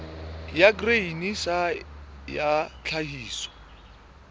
ya grain sa ya tlhahiso